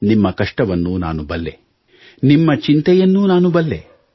ನಿಮ್ಮ ಕಷ್ಟವನ್ನು ನಾನು ಬಲ್ಲೆ ನಿಮ್ಮ ಚಿಂತೆಯನ್ನೂ ನಾನು ಬಲ್ಲೆ